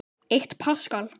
Eitt paskal